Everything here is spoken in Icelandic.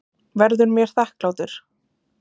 Verður mér þakklátur.